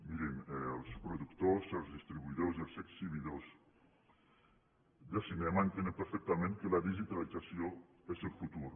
mirin els productors els distribuïdors i els exhibidors de cinema entenen perfectament que la digitalització és el futur